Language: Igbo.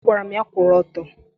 Agwara m ya kwụrụ ọtọ!